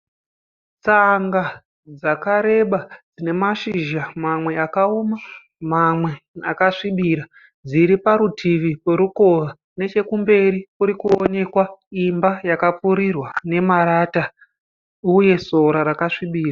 Tsanga dzakareba nemashizha mamwe akauma mamwe akasvibira dziriparutivi perukova nechekumberi kurikuonekwa imba yakapfirirwa memarata uye sora rakasvibira.